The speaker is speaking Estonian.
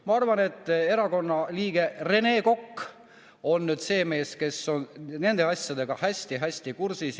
Ma arvan, et erakonna liige Rene Kokk on nüüd see mees, kes on nende asjadega hästi-hästi kursis.